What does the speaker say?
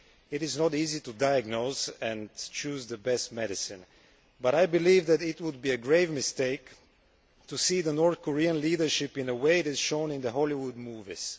It is not easy to diagnose and choose the best medicine, but I believe that it would be a grave mistake to see the North Korean leadership in a way that is shown in Hollywood movies.